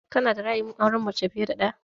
Ka na da ra'ayin aurenmace fiye da ɗaya?